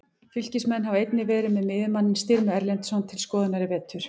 Fylkismenn hafa einnig verið með miðjumanninn Styrmi Erlendsson til skoðunar í vetur.